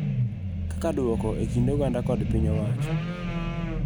Kaka duoko e kind oganda kod piny owacho.